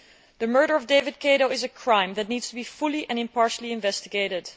The murder of David Kato is a crime that needs to be fully and impartially investigated.